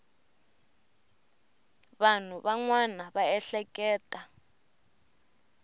vanhu van wana va ehleketa